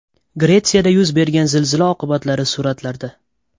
Gretsiyada yuz bergan zilzila oqibatlari suratlarda.